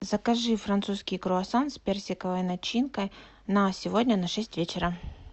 закажи французский круассан с персиковой начинкой на сегодня на шесть вечера